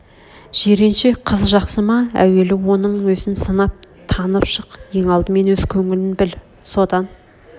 жиренше қыз жақсы ма әуелі оның өзін сынап танып шық ең алдымен өз көңілін біл содан